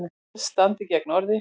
Orð standi gegn orði